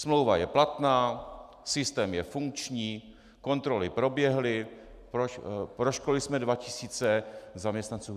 Smlouva je platná, systém je funkční, kontroly proběhly, proškolili jsme dva tisíce zaměstnanců.